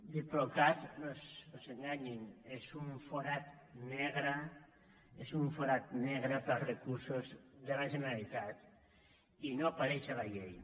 diplocat no s’enganyin és un forat negre és un forat negre per a recursos de la generalitat i no apareix a la llei